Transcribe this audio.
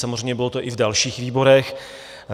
Samozřejmě to bylo i v dalších výborech.